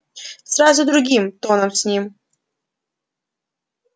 сразу другим тоном с ним